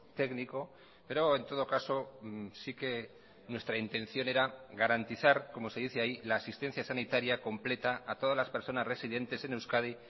técnico pero en todo caso sí que nuestra intención era garantizar como se dice ahí la asistencia sanitaria completa a todas las personas residentes en euskadi